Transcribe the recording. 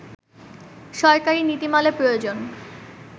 সরকারি নীতিমালা প্রয়োজন